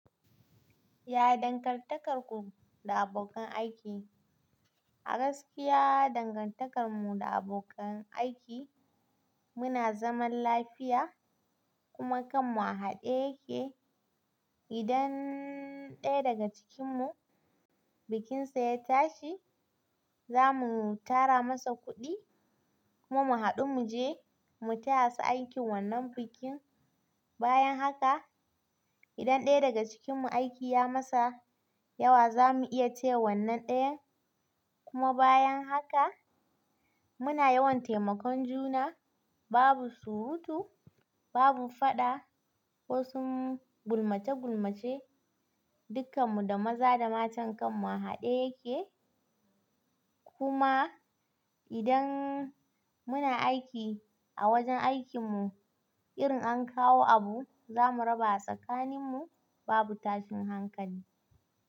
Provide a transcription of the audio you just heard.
Ya dangantakar ku da abokan aiki? A gaskiya dangantakar mu da abokan aiki muna zaman lafiya kuma kanmu a haɗe yake. Idan ɗaya daga cikin mu bikinsa ya tashi za mu tara masa kuɗi kuma mu haɗu mu je mu taya su aikin wannan bikin. Bayan haka idan ɗaya daga cikinmu aiki ya masa yawa za mu iya taya wannan ɗayan. Kuma bayan haka muna yawan taimakon juna babu surutu, babu faɗa ko sun gulmace gulmace dukkan mu da maza da mata kanmu a haɗe yake. Kuma idan muna aiki a wajen aikinmu irin an kawo abu za mu raba a tsakanin mu babu tashin hankali.